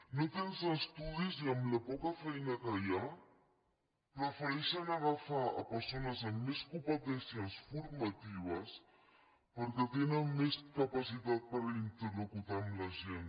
no tens estudis i amb la poca feina que hi ha prefereixen agafar persones amb més competències formatives perquè tenen més capacitat per interlocutar amb la gent